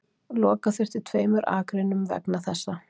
Loka þurfti tveimur akreinum vegna þessa